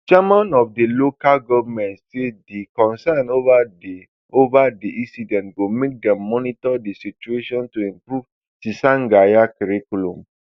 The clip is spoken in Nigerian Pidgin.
chairman of di local goment say di concern over di over di incident go make dem monitor di situation to improve tsangaya curriculum